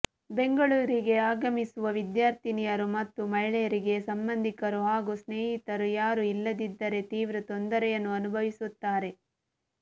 ಬೆಂಗಳೂರಿಗೆ ಆಗಮಿಸುವ ವಿದ್ಯಾರ್ಥಿನಿಯರು ಮತ್ತು ಮಹಿಳೆಯರಿಗೆ ಸಂಬಂಧಿಕರು ಹಾಗೂ ಸ್ನೇಹಿತರು ಯಾರೂ ಇಲ್ಲದಿದ್ದರೆ ತೀವ್ರ ತೊಂದರೆಯನ್ನು ಅನುಭವಿಸುತ್ತಾರೆ